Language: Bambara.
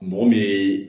Mɔgɔ min ye